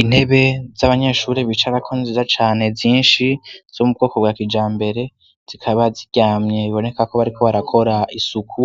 Intebe z'abanyeshuri bicarako ziza cane zinshi zo mubwoko bwa kija mbere zikaba ziryamye bbonekako bariko barakora isuku